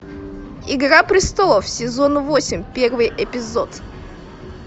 игра престолов сезон восемь первый эпизод